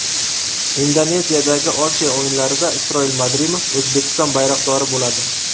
Indoneziyadagi Osiyo o‘yinlarida Isroil Madrimov O‘zbekiston bayroqdori bo‘ladi.